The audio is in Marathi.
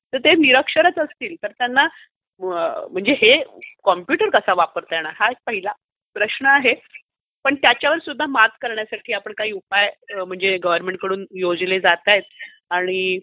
तर ते निरक्षरच असतील तर त्यांना कम्प्युटर कसा वापरता येणार हा एक पहिलं प्रश्न आहे तर पण त्याच्यावर सुद्धा मात करण्यासाठी काही उपाय योजले जातायत आणि